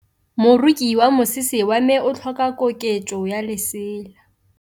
Moroki wa mosese wa me o tlhoka koketsô ya lesela.